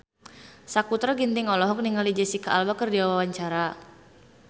Sakutra Ginting olohok ningali Jesicca Alba keur diwawancara